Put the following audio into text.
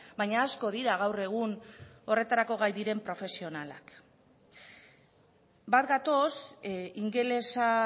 baina asko dira gaur egun horretarako gai diren profesionalak bat gatoz ingelesa